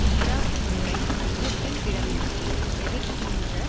Iraq போரை ஐயத்திற்கிடமின்றி எதிர்க்கின்ற